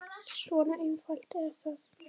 Svona einfalt er það.